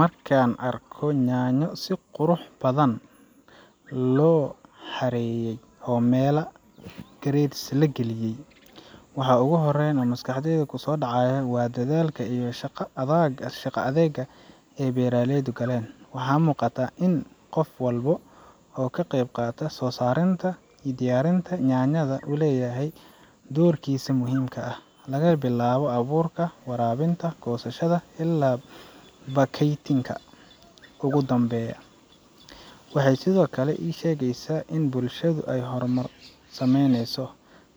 Markaan arko yaanyo si qurux badan loo xareeyey oo meel grates la geliye;, waxa ugu horreeya ee maskaxdayda ku soo dhacaya waa dadaalka iyo shaqada adeega ee beeraleydu galeen. Waxaa muuqata in qof walba oo ka qeyb qaatay soo saarinta iyo diyaarinta yaanyada uu leeyahay doorkiisa muhiimka ah laga bilaabo abuurka, waraabinta, goosashada, ilaa baakaynta ugu dambeysa. Waxay sidoo kale ii sheegaysaa in bulshadeenu ay horumar sameyneyso,